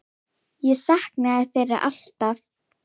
Hún mátti aldrei aumt sjá.